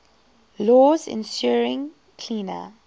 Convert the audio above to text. laws ensuring cleaner